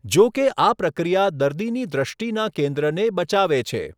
જોકે આ પ્રક્રિયા દર્દીની દૃષ્ટિના કેન્દ્રને બચાવે છે.